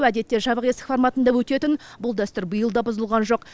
әдетте жабық есік форматында өтетін бұл дәстүр биыл да бұзылған жоқ